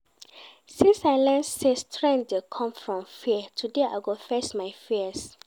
Since I learn sey strength dey come from fear, today I go face my fears